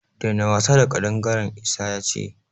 Daina wasa da ƙadangaren! Isa ya ce.